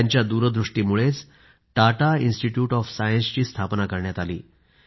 त्यांच्या दूरदृष्टीमुळेच Tata institute of सायन्सची स्थापना करण्यात आली